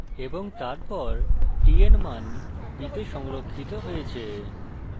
এবং তারপর t এর মান b তে সংরক্ষিত হয়েছে